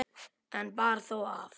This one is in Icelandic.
Einn bar þó af.